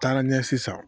Taara ɲɛsin